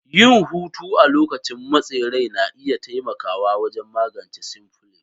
Yin hutu a lokacin motsin rai na iya taimakawa wajen magance cnflicts